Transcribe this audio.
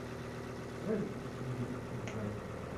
давай запустим ливерпуль брайтон